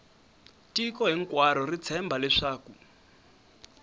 tiko hinkwaro ri tshemba leswaku